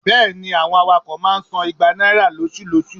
bẹẹni, àwọn awakọ ma ń sán igbà naira loṣú-loṣú.